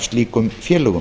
slíkum félögum